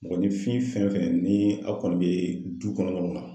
Mɔgɔninfin fɛn fɛn ni aw kɔni bɛ du kɔnɔnaw na.